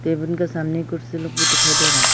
Cabin के सामने कुर्सी लोग भी दिखाई दे रहा है।